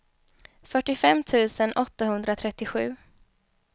fyrtiofem tusen åttahundratrettiosju